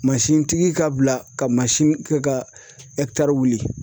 tigi ka bila ka kɛ ka wuli.